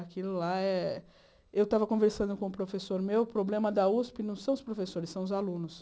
Aquilo lá é eu estava conversando com o professor meu, o problema da usp não são os professores, são os alunos.